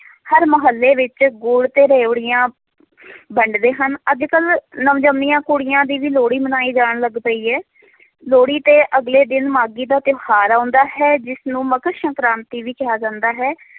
ਹਰ ਮੁਹੱਲੇ ਵਿੱਚ ਗੁੜ ਤੇ ਰਿਓੜੀਆਂ ਵੰਡਦੇ ਹਨ, ਅੱਜ ਕੱਲ੍ਹ ਨਵ ਜੰਮੀਆਂ ਕੁੜੀਆਂ ਦੀ ਵੀ ਲੋਹੜੀ ਮਨਾਈ ਜਾਣ ਲੱਗ ਪਈ ਹੈ ਲੋਹੜੀ ਦੇ ਅਗਲੇ ਦਿਨ ਮਾਘੀ ਦਾ ਤਿਉਹਾਰ ਆਉਂਦਾ ਹੈ, ਜਿਸਨੂੰ ਮਕਰ ਸੰਕਰਾਤੀ ਵੀ ਕਿਹਾ ਜਾਂਦਾ ਹੈ